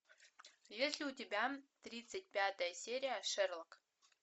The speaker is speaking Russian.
есть ли у тебя тридцать пятая серия шерлок